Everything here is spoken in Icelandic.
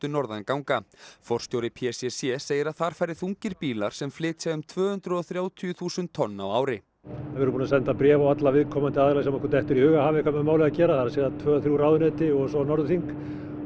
norðan ganga forstjóri p c c segir að þar fari þungir bílar sem flytja um tvö hundruð og þrjátíu þúsund tonn á ári við erum búin að senda bréf á alla viðkomandi aðila sem okkur dettur í hug að hafi eitthvað með málið að gera það er að segja tvö þrjú ráðuneyti og svo Norðurþing